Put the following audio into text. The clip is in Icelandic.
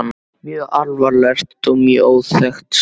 Mjög alvarlegt og mjög óþekkt skáld.